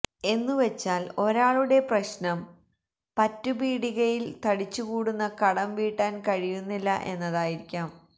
എന്നുവച്ചാൽ ഒരാളുടെ പ്രശ്നം പറ്റുപീടികയിൽ തടിച്ചുകൂടുന്ന കടം വീട്ടാൻ കഴിയുന്നില്ല എന്നതായിരിക്കാം